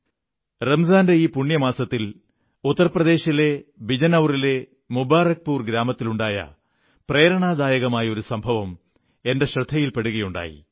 റംസാന്റെ ഈ പുണ്യമാസത്തിൽ ഉത്തർപ്രദേശിലെ ബിജനൌറിലെ മുബാറക്പുർ ഗ്രാമത്തിലുണ്ടായ പ്രേരണാദായകമായ ഒരു സംഭവം എന്റെ ശ്രദ്ധയിൽപ്പെടുകയുണ്ടായി